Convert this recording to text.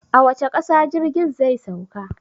A wace ƙasa jirgin zai sauka?